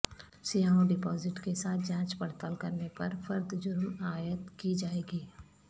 سیاحوں ڈپازٹ کے ساتھ جانچ پڑتال کرنے پر فرد جرم عائد کی جائے گی